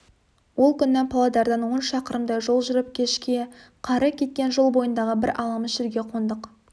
ол күні павлодардан он шақырымдай жол жүріп кешке қары кеткен жол бойындағы бір аламыш жерге қондық